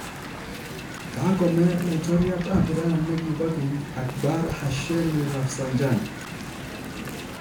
kakome laitoriat ab Iran ne kibo keny Akbar Hashemi Rafsanjani.